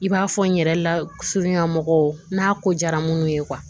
I b'a fɔ n yɛrɛ la surunya mɔgɔw n'a ko diyara minnu ye